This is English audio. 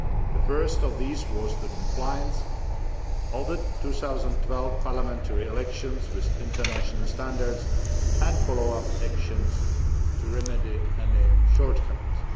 The first of these was the compliance of the 2012 parliamentary elections with international standards and follow up actions to remedy any shortcomings.